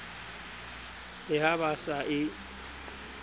le ha ba sa e